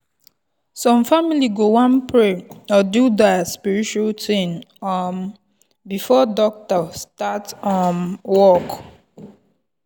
some family go wan pray or do their spiritual thing um before doctor start um work.